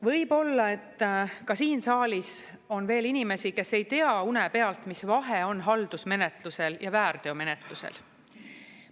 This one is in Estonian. Võib-olla et ka siin saalis on veel inimesi, kes ei tea une pealt, mis vahe on haldusmenetlusel ja väärteomenetlusel.